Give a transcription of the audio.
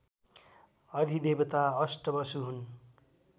अधिदेवता अष्टवसु हुन्